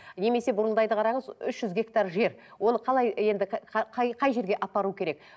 немесе бұрылдайды қараңыз үш жүз гектар жер оны қалай енді қай қай жерге апару керек